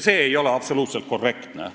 See ei ole minu arvates absoluutselt korrektne.